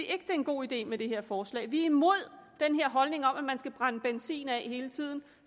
er en god idé med det her forslag vi er imod den her holdning om at man skal brænde benzin af hele tiden